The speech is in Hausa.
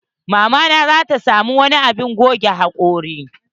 Mama na zata samo wani abun goge hakori.